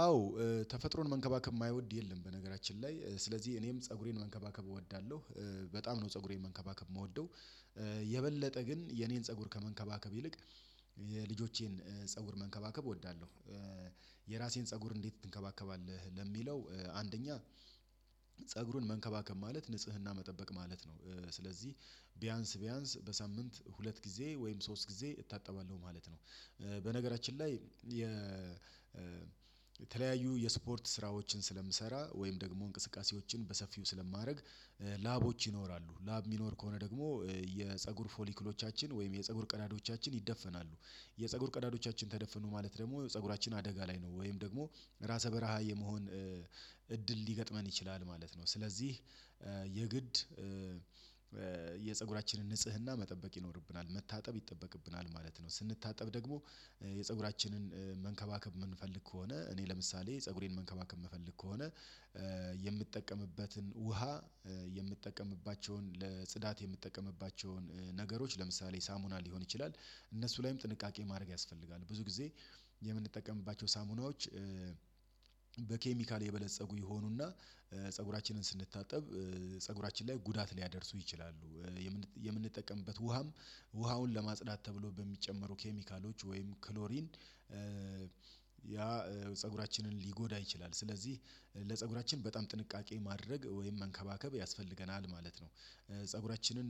አዎ ተፈጥሮን መንከባከብ የማይወድ የለም። በነገራችን ላይ ስለዚህ እኔም ፀጉሬን መንከባከብ እወዳለሁ በጣም ነው ፀጉሬን መንከባከብ የምወደው። የበለጠ ግን የኔን ፀጉር ከመንከባከብ ይልቅ የልጆቼን ፀጉር መንከባከብ እወዳለሁ። የራሴን ፀጉር እንዴት ትንከባከባለህ? ለሚለው አንደኛ ፀጉሩን መንከባከብ ማለት ንጽህና መጠበቅ ማለት ነው። ስለዚህ ቢያንስ ቢያንስ በሳምንት ሁለት ጊዜ ወይም ሶስት ጊዜ እታጠባለሁ ማለት ነው። በነገራችን ላይ የተለያዩ የስፖርት ስራዎችን ስለምሰራ ወይም ደግሞ እንቅስቃሴዎችን በሰፊው ስለማድረግ። ላቦች ይኖራሉ ላብ የሚኖር ከሆነ ደግሞ የፀጉር ፎሊክሎቻችን ወይም የፀጉር ቀዳዳዎቻችን ይደፈናሉ። የፀጉር ቀዳዳዎቻችን ተደፍኑ ማለት ደግሞ ፀጉራችን አደጋ ላይ ነው ወይም ደግሞ ራሰ በረሃ የመሆን እድል ሊገጥመን ይችላል ማለት ነው። ስለዚህ የግድ የፀጉራችንን ንጽህና መጠበቅ ይኖርብናል መታጠብ ይጠበቅብናል ማለት ነው። ስንታጠብ ደግሞ የፀጉራችንን መንከባከብ የምንፈልግ ከሆነ እኔ ለምሳሌ ፀጉሬን መንከባከብ የምፈልግ ከሆነ። የምጠቀምበትን ውሃ የምጠቀምባቸውን ለጽዳት የምትጠቀምባቸውን ነገሮች ለምሳሌ ሳሙና ሊሆን ይችላል እነሱ ላይም ጥንቃቄ ማድረግ ያስፈልጋል። ብዙ ጊዜ የምንጠቀምባቸው ሳሙናዎች በኬሚካል የበለፀጉ ይሆኑና ፀጉራችንን ስንታጠብ ፀጉራችን ላይ ጉዳት ሊያደርሱ ይችላሉ። የምንጠቀምበት ውሃም ውሃውን ለማጽዳት ተብሎ በሚጨመሩ ኬሚካሎች ወይም ክሎሪን ያ ፀጉራችንን ሊጎዳ ይችላል። ስለዚህ ለፀጉራችን በጣም ጥንቃቄ ማድረግ ወይም መንከባከብ ያስፈልገናል ማለት ነው። ፀጉራችንን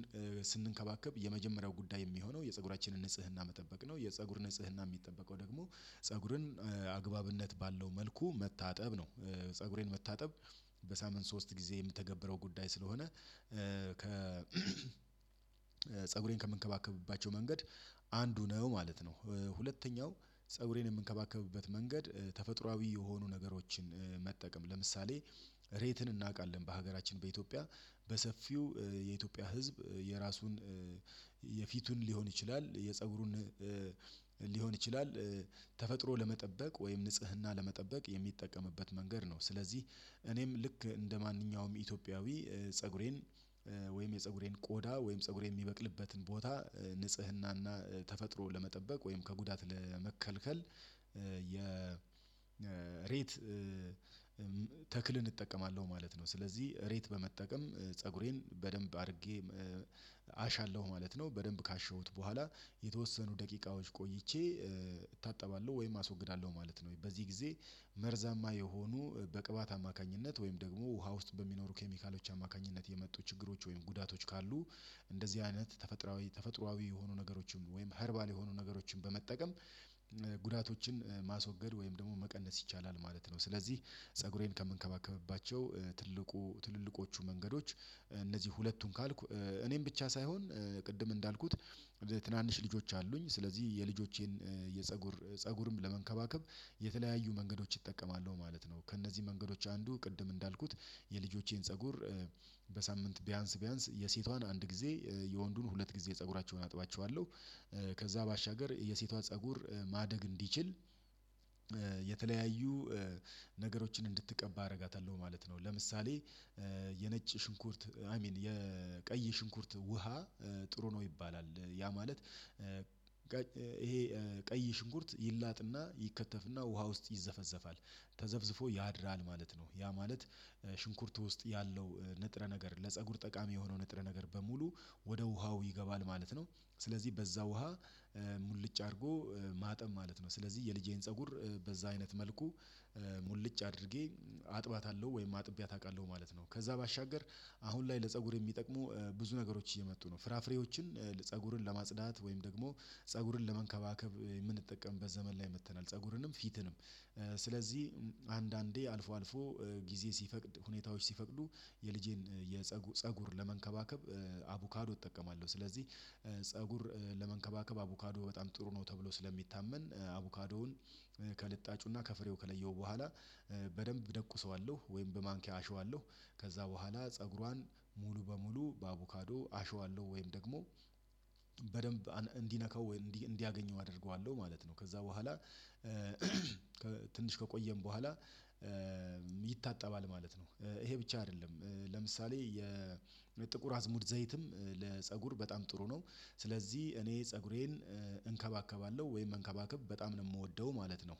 ስንከባከብ የመጀመሪያው ጉዳይ የሚሆነው የፀጉራችንን ንጽህና መጠበቅ ነው። የፀጉር ንጽህና የሚጠበቀው ደግሞ ፀጉርን አግባብነት ባለው መልኩ መታጠብ ነው። ፀጉሬን መታጠብ በሳምንት ሶስት ጊዜ የምተገብረው ጉዳይ ስለሆነ ከ ፀጉሬን ከምንከባከባቸው መንገድ አንዱ ነው ማለት ነው። ሁለተኛው ፀጉሬን የምንከባከብበት መንገድ ተፈጥሮአዊ የሆኑ ነገሮችን መጠቀም ለምሳሌ ሬትን እናውቃለን በሀገራችን በኢትዮጵያ በሰፊው የኢትዮጵያ ህዝብ የራሱን የፊቱን ሊሆን ይችላል የፀጉሩን ሊሆን ይችላል ተፈጥሮ ለመጠበቅ ወይም ንጽህና ለመጠበቅ የሚጠቀምበት መንገድ ነው። ስለዚህ እኔም ልክ እንደማንኛውም ኢትዮጵያዊ ፀጉሬን ወይም የፀጉሬን ቆዳ ወይም ፀጉሬን የሚበቅልበትን ቦታ ንጽህናና ተፈጥሮ ለመጠበቅ ወይም ከጉዳት ለመከልከል የሬት ተክልን እጠቀማለሁ ማለት ነው። ስለዚህ ሬት በመጠቀም ፀጉሬን በደንብ አድርጌ አሻለሁ ማለት ነው በደንብ ካሸውት በኋላ የተወሰኑ ደቂቃዎች ቆይቼ እታጠባለሁ ወይም አስወግዳለሁ ማለት ነው። ወይ በዚህ ጊዜ መርዛማ የሆኑ በቅባት አማካኝነት ወይም ደግሞ ውሃ ውስጥ በሚኖሩ ኬሚካሎች አማካኝነት የመጡ ችግሮች ወይም ጉዳቶች ካሉ። እንደዚህ አይነት ተፈጥሮአዊ ተፈጥሮአዊ የሆኑ ነገሮችም ወይም ሀርባል የሆኑ ነገሮችን በመጠቀም ጉዳቶችን ማስወገድ ወይም ደግሞ መቀነስ ይቻላል ማለት ነው። ስለዚህ ፀጉሬን ከምንከባከብባቸው ትልቁ ትልልቆቹ መንገዶች እነዚህ ሁለቱን ካልኩ እኔም ብቻ ሳይሆን ቅድም እንዳልኩት ትናንሽ ልጆች አሉኝ ስለዚህ የልጆቼን የፀጉር ፀጉርም ለመንከባከብ የተለያዩ መንገዶች እጠቀማለው ማለት ነው። ከእነዚህ መንገዶች አንዱ ቅድም እንዳልኩት የልጆቼን ፀጉር በሳምንት ቢያንስ ቢያንስ የሴቷን አንድ ጊዜ የወንዱን ሁለት ጊዜ ፀጉራቸውን አጥባቸዋለሁ። ከዛ ባሻገር የሴቷ ፀጉር ማደግ እንዲችል የተለያዩ ነገሮችን እንድትቀባ አደርጋታለሁ ማለት ነው። ለምሳሌ የነጭ ሽንኩርት አይ ሚን የቀይ ሽንኩርት ውሃ ጥሩ ነው ይባላል ያ ማለት ይሄ ቀይ ሽንኩርት ይላጥና ይከተፍና ውሃ ውስጥ ይዘፈዘፋል ተዘፍዝፎ ያድራል ማለት ነው። ያ ማለት ሽንኩርቱ ውስጥ ያለው ንጥረ ነገር ለፀጉር ጠቃሚ የሆነው ንጥረ ነገር በሙሉ ወደ ውሃው ይገባል ማለት ነው። ስለዚህ በዛ ውሃ ሙልጭ አድርጎ ማጠብ ማለት ነው። ስለዚህ የልጄን ፀጉር በዛ አይነት መልኩ ሙልጭ አድርጌ አጥባታለሁ ወይም አጥቢያት አውቃለሁ ማለት ነው። ከዛ ባሻገር አሁን ላይ ለፀጉር የሚጠቅሙ ብዙ ነገሮች እየመጡ ነው ፍራፍሬዎችን ፀጉርን ለማጽዳት ወይም ደግሞ ፀጉርን ለመንከባከብ የምንጠቀምበት ዘመን ላይ መጥተናል። ፀጉርንም ፊትንም ስለዚህ አንዳንዴ አልፎ አልፎ ጊዜ ሲፈቅድ ሁኔታዎች ሲፈቅዱ የልጄን የፀጉ ፀጉር ለመንከባከብ አቡካዶ እጠቀማለሁ ስለዚህ። ለመንከባከብ አቡካዶ በጣም ጥሩ ነው። ተብሎ ስለሚታመን አቡካዶውን ከልጣጩና ከፍሬው ከለየው በኋላ በደንብ ደቁሰዋለሁ ወይም በማንኪያ አሸዋለሁ ከዛ በኋላ ፀጉሯን ሙሉ በሙሉ በአቮካዶ አሸዋለሁ ወይም ደግሞ በደንብ እንዲነካው ወይም እንዲያገኘው አደርገዋለሁ ማለት ነው። ከዛ በኋላ ከቆየን በኋላ ይታጠባል ማለት ነው። ይሄ ብቻ አይደለም ለምሳሌ የጥቁር አዝሙድ ዘይትም ለፀጉር በጣም ጥሩ ነው። ስለዚህ እኔ ፀጉሬን እንከባከባለሁ ወይም መንከባከብ በጣም ነው የምወደው ማለት ነው።